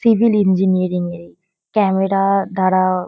civil engineering -এর ক্যামেরা-আ দ্বারা-আ --